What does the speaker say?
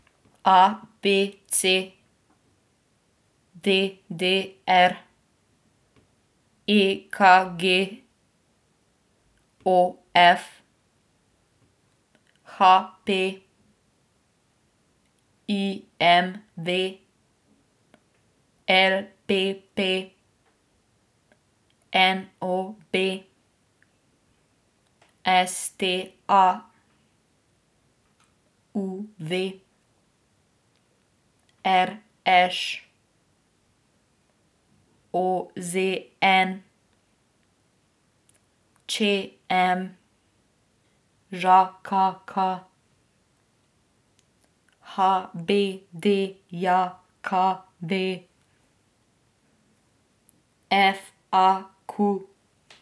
A B C; D D R; E K G; O F; H P; I M V; L P P; N O B; S T A; U V; R Š; O Z N; Č M; Ž K K; H B D J K V; F A Q.